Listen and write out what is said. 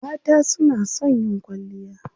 Mata su na son yin kwalliya.